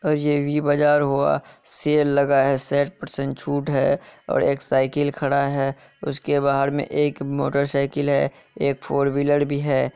और ये वी बाजार हुआ सेल लगा है। सैठ पर्सेन्ट छूट है ।और एक साइकिल खड़ा है। उसके बाहर मे एक मोटरसाइकिल है। एक फोर व्हीलर भी है।